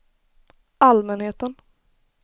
allmänheten